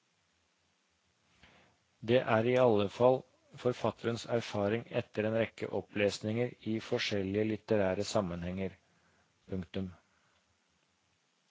Det er i alle fall forfatterens erfaring etter en rekke opplesninger i forskjellige litterære sammenhenger. punktum